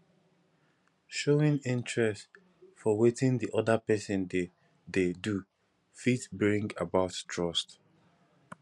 showing interest for wetin di oda person dey dey do fit bring about trust